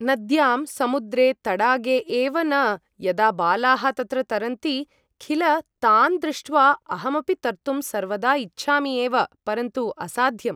नद्यां समुद्रे तडागे एव न यदा बालाः तत्र तरन्ति खिल तान् दृष्ट्वा अहमपि तर्तुं सर्वदा इच्छामि एव परन्तु असाध्यम्